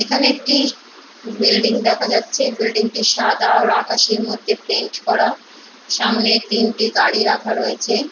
এখানে একটি বিল্ডিং দেখা যাচ্ছে। বিল্ডিং -টি সাদা আর আকাশির মধ্যে পেইন্ট করা। সামনে তিনটি গাড়ি রাখা রয়েছে।